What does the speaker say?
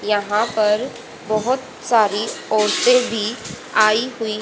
यहां पर बहोत सारी औरतें भी आई हुई--